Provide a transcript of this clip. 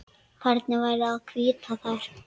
Hvernig væri að hvítta þær?